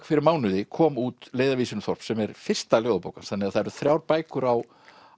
fyrir mánuði kom út leiðarvísir um þorp sem er fyrsta ljóðabók hans þannig að það eru þrjár bækur á